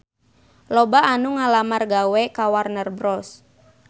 Loba anu ngalamar gawe ka Warner Bros